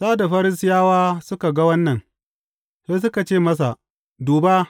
Sa’ad da Farisiyawa suka ga wannan, sai suka ce masa, Duba!